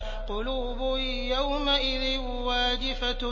قُلُوبٌ يَوْمَئِذٍ وَاجِفَةٌ